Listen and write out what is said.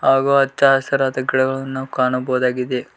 ಹಾಗು ಅಚ್ಚ ಹಸಿರಾದ ಗಿಡಗಳನ್ನು ನಾವು ಕಾಣಬೋದಾಗಿದೆ.